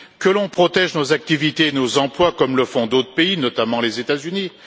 Que l'on protège nos activités et nos emplois comme le font d'autres pays, notamment les États-Unis.